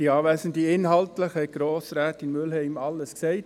Kommissionspräsident der GSoK. Inhaltlich hat Grossrätin Mühlheim alles gesagt.